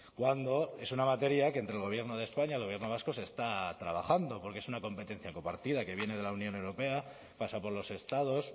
cuando es una materia que entre el gobierno de españa el gobierno vasco se está trabajando porque es una competencia compartida que viene de la unión europea pasa por los estados